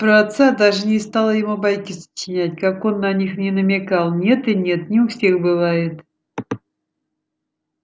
про отца даже не стала ему байки сочинять как он на них ни намекал нет и нет не у всех бывает